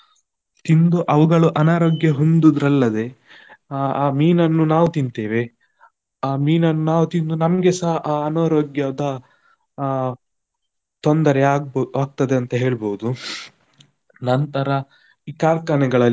ತಿಂದು ಅವುಗಳು ಅನಾರೋಗ್ಯ ಹೊಂದುದ್ರಲ್ಲದೆ, ಆ ಮೀನನ್ನು ನಾವು ತಿಂತೇವೆ, ಆ ಮೀನನ್ನು ನಾವು ತಿಂದು ನಮ್ಗೆಸ ಅನಾರೋಗ್ಯದ ಅಹ್ ತೊಂದರೆ ಆಗ~ ಆಗ್ತದೆ ಅಂತ ಹೇಳ್ಬಹುದು, ನಂತರ ಈ ಕಾರ್ಖಾನೆಗಳಲ್ಲಿ.